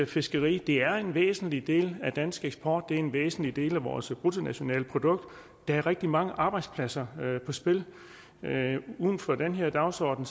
fiskeri er en væsentlig del af dansk eksport det er en væsentlig del af vores bruttonationalprodukt der er rigtig mange arbejdspladser på spil uden for den her dagsorden